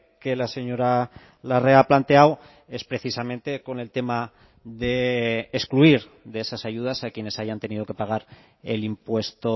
que la señora larrea ha planteado es precisamente con el tema de excluir de esas ayudas a quienes hayan tenido que pagar el impuesto